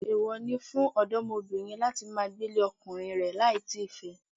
Èwo ni fún ọ̀dọ́mọbìnrin láti máa gbélé ọkùnrin rẹ láì tí ì fẹ́ ẹ